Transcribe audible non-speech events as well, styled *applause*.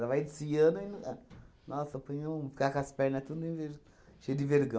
Ela vai desfiando e... *unintelligible* Nossa, põe um... Ficar com as pernas todas enver cheia de vergão.